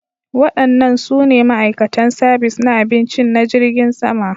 Waɗannan su ne ma'aikatan sabis na abinci na jirgin sama